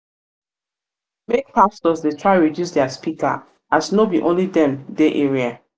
make pastors dey try reduce dia speaker as no be only dem dey area